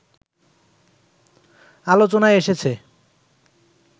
আলোচনায় এসেছে